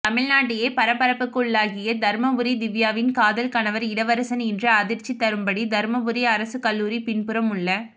தமிழ்நாட்டையே பரபரப்புக்குள்ளாக்கிய தர்மபுரி திவ்யாவின் காதல் கணவர் இளவரசன் இன்று அதிர்ச்சி தரும்படி தருமபுரி அரசுக் கல்லூரி பின்புறம் உள்ள